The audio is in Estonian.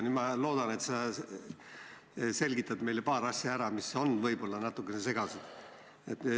Nüüd ma loodan, et sa selgitad meile ära paar asja, mis on võib-olla natuke segased.